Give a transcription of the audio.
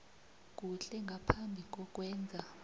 kuhle ngaphambi kokwenza